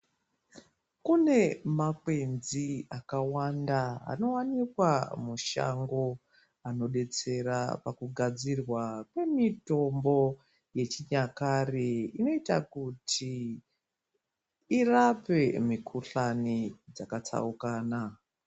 Kune makwenzi akawanda anowanikwa mushango anodetsera pakugadzirwa kwemitombo yechinyakare inoita kuti irape mikuhlani dzakatsaukana.